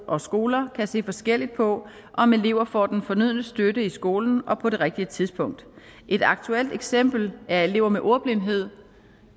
og skoler kan se forskelligt på om elever får den fornødne støtte i skolen og på det rigtige tidspunkt et aktuelt eksempel er elever med ordblindhed